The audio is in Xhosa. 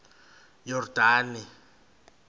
yordane